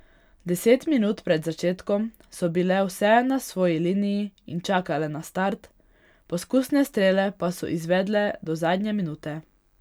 Deset minut pred začetkom so bile vse na svoji liniji in čakale na start, poskusne strele pa so izvedle do zadnje minute.